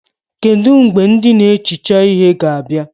Kedụ mgbe ndị na-ehicha ihe ga-abịa?